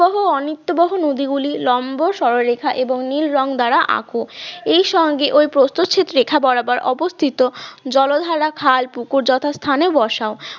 বহ নিত্যবহ নদীগুলি লম্ব সরলরেখা ও নীল রঙ দ্বারা আঁকো এর সঙ্গে ওই প্রস্থচ্ছেদ রেখা বরাবর অবস্থিত জলধারা খাল পুকুর যথাস্থানে বসাও